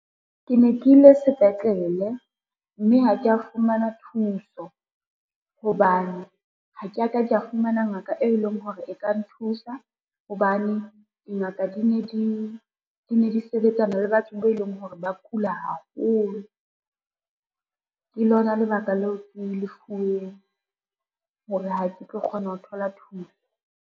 Ke ne ke ile sepetlele, mme ha kea fumana thuso hobane ha ke a ka ka fumana ngaka e leng hore e ka nthusa, hobane dingaka dine di sebetsana le batho be leng hore ba kula haholo. Ke lona lebaka leo ke lefuweng hore ha ke tlo kgona ho thola thuso.